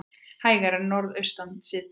Hægari Norðaustanlands síðdegis